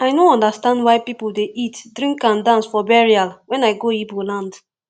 i no understand why people dey eatdrink and dance for burial wen i go igbo land